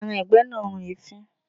Ẹran ìgbẹ́ náà run èéfín.